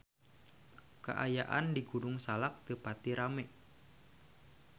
Kaayaan di Gunung Salak teu pati rame